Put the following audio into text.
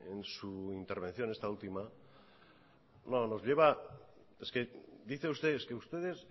en su intervención esta última no nos lleva es que dice usted es que ustedes